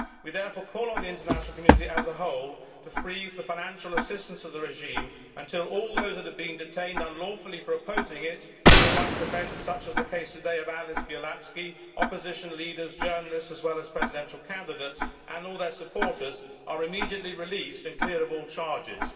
We therefore call on the international community as a whole to freeze financial assistance to the regime until all those who have been detained unlawfully for opposing it human rights defenders such as the case today of Ales Bialiatski, opposition leaders and journalists, as well as presidential candidates, and all their supporters are immediately released and cleared of all charges.